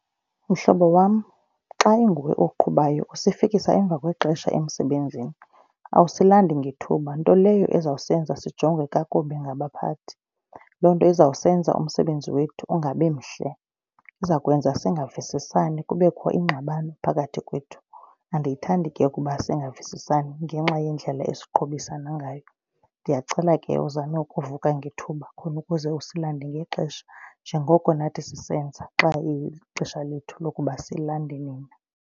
Mhlobo wam, xa inguwe oqhubayo usifikisa emva kwexesha emsebenzini. Awusilandi ngethuba, nto leyo ezawusenza sijongwe kakubi ngabaphathi. Loo nto izawusenza umsebenzi wethu ungabi mhle, iza kwenza singavusiiani kubekho iingxabano phakathi kwethu. Andiyithandi ke ukuba singavusisani ngenxa yendlela esiqhubisana ngayo. Ndiyacela ke uzame ukuvuka ngethuba khona ukuze usilande ngexesha njengoko nathi sisenza xa ilixesha lethu lokuba silande nina.